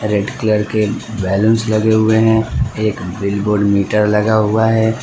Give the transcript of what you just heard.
Red colour के balloons लगे हुए हैं। एक बिल बोर्ड मीटर लगा हुआ है।